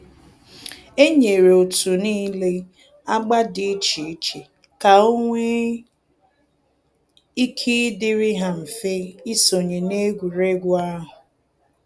E nyere otu niile agba dị iche iche ka o nwe ike ịdịrị ha mfe isonye na egwuregwu ahụ.